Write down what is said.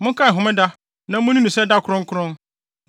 Monkae homeda na munni no sɛ da kronkron.